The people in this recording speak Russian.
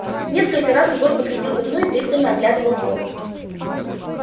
несколько раз егор подходил к окну и пристально оглядывал двор